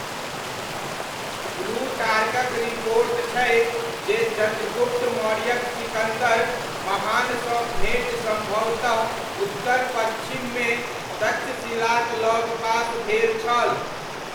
प्लूटार्कक report छै जे चन्द्रगुप्त मौर्यक सिकन्दर महानसँ भेँट सम्भवतः उत्तर पच्छिममे तक्षशिलाक लगपास भेल छल।